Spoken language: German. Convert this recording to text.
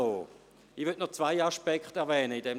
Ich möchte noch zwei Aspekte erwähnen: